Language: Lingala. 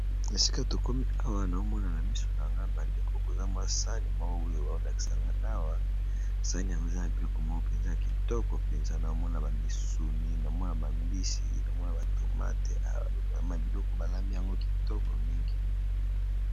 Esika tokomi awa nazomona na miso na ngai bandeko saani eza nakati misuni, mbisi tomate biloko balambi yango kitoko.